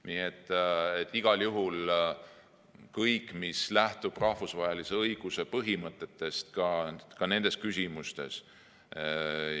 Nii et igal juhul lähtub kõik rahvusvahelise õiguse põhimõtetest ka nendes küsimustes.